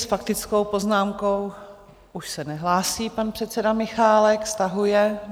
S faktickou poznámkou už se nehlásí pan předseda Michálek, stahuje.